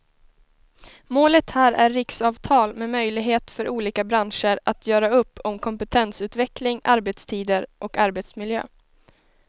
Målet här är riksavtal med möjlighet för olika branscher att göra upp om kompetensutveckling, arbetstider och arbetsmiljö.